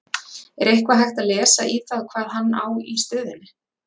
Er eitthvað hægt að lesa í það hvað hann á í stöðunni?